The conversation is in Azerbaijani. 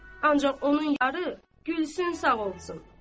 Ancaq onun yarı Gülsüm sağ olsun.